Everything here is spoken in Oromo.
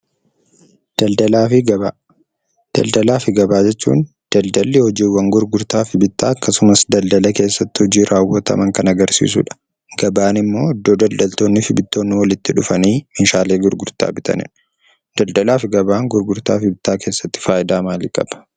Daldalaa fi Gabaa . Daldalaa fi gabaa jechuun, daldalli hojiiwwan gurgurtaa fi bittaa akkasumas daldala keessatti hojii raawwataman kan agarsiisu dha. Gabaan immoo iddoo daldaltoonnii fi bittoonni walitti dhufanii meeshaalee gurgurtaa bitani dha. Daldalaa fi gabaan gurgurtaa fi bittaa keessatti faayidaa maalii qaba?